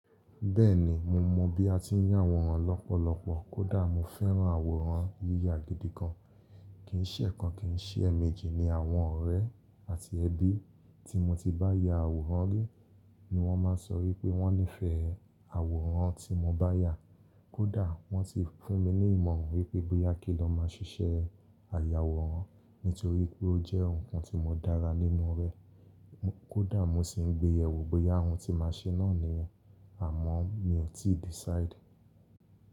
Bẹ́ẹ̀ni, mo mọ bí a ti ń yà àwòrán lọ́pọ̀lọpọ̀, kódà mo fẹ́ran àwòrán yíya gidi gan. Kì í ṣẹ̀ kan kì í ṣẹ̀ eméjì ni àwọn ọ̀rẹ́ àti ẹbí tí mo ti bá ya àwòrán rí ni wọ́n máa ń sọ wípé wọ́n nífẹ̀ẹ́ àwòrán tí mo bá yà. Kódà wọ́n tì fún mi ní ìmọ̀ràn wípé bóyá kí n lọ máa ṣiṣẹ́ àyàwòrán nítorí pé ó jẹ́ nǹkan tí mo dára nínú rẹ. Kódà mo sì ń gbe yẹ̀wò bóyá ohun tí màá ṣe náà ni yen, àmọ́ mi i tíì decide.